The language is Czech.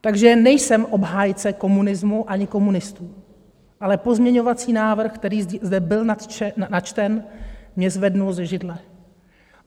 Takže nejsem obhájce komunismu ani komunistů, ale pozměňovací návrh, který zde byl načten, mě zvedl ze židle.